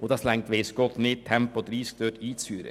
Und das reicht weiss Gott nicht, um Tempo 30 einzuführen.